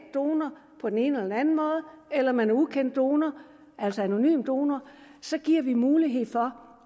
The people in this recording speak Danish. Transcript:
på den ene eller den anden måde eller om man er ukendt donor altså anonym donor så giver vi mulighed for